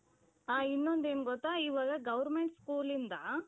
ಆ ಇನ್ನೊಂದ್ ಏನ್ ಗೊತ್ತಾ ಇವಾಗ government school ಇಂದ.